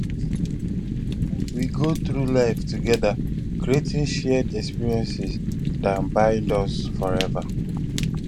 we go through life together creating shared experiences dat bind us forever